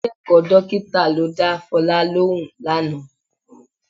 Akẹ́kọ̀ọ́ dọ́kítà ló dá Fọlá lóhùn lánàá